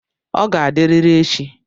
Ọ ga-adịrịrị echi.